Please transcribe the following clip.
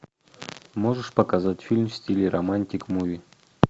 можешь показать фильм в стиле романтик муви